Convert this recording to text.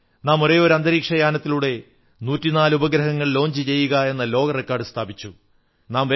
നാം ഒരേയൊരു അന്തരീക്ഷ യാനത്തിലൂടെ 104 ഉപഗ്രഹങ്ങൾ വിക്ഷേപിക്കുകയെന്ന ലോക റെക്കാഡ് സ്ഥാപിച്ചു